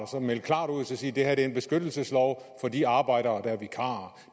at melde klart ud og sige det her er en beskyttelseslov for de arbejdere der er vikarer